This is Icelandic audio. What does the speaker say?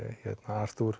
Artúr